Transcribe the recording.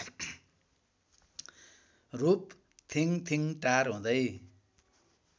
रूप थिङथिङटार हुँदै